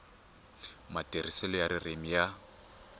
matirhiselo ya ririmi i ya